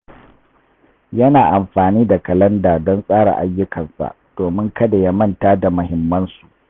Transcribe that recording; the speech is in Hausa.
Yana amfani da kalanda don tsara ayyukansa domin kada ya manta da muhimmansu.